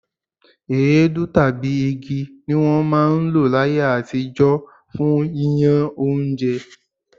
Èédú tàbí igi ni wọ́n máa ń lò láyé àtijọ́ fún yíyán oúnjẹ.